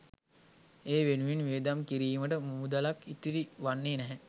ඒ වෙනුවෙන් වියදම් කිරීමට මුදලක් ඉතිරි වන්නේ නැහැ.